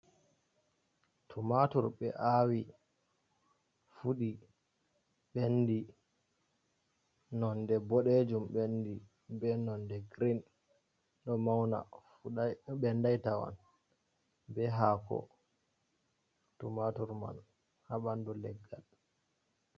Tumatur be awi fudi bendi nonde bodejum, bendi be nonde green do mauna ɓendai tawan be hako tumatur man ha bandu leggal.